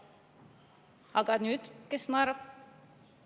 Aga kes nüüd naerab?